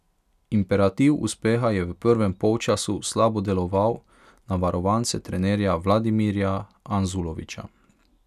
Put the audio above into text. Imperativ uspeha je v prvem polčasu slabo deloval na varovance trenerja Vladimirja Anzulovića.